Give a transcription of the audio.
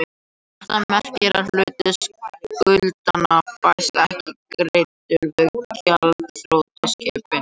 Þetta merkir að hluti skuldanna fæst ekki greiddur við gjaldþrotaskiptin.